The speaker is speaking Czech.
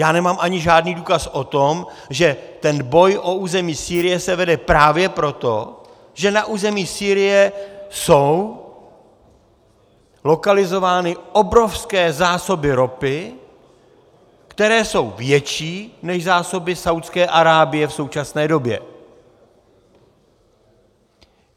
Já nemám ani žádný důkaz o tom, že ten boj o území Sýrie se vede právě proto, že na území Sýrie jsou lokalizovány obrovské zásoby ropy, které jsou větší než zásoby Saúdské Arábie v současné době.